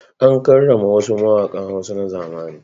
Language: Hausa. An karrama wasu mawaƙan Hausa na zamani.